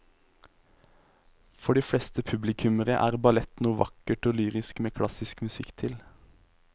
For de fleste publikummere er ballett noe vakkert og lyrisk med klassisk musikk til.